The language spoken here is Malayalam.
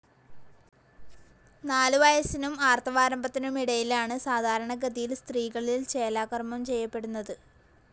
നാലുവയസ്സിനും ആർത്തവാരംഭത്തിനുമിടയിലാണ് സാധാരണഗതിയിൽ സ്ത്രീകളിൽ ചേലാകർമ്മം ചെയ്യപ്പെടുന്നത്.